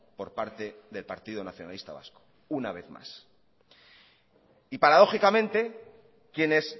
por parte del partido nacionalista vasco una vez más y paradójicamente quienes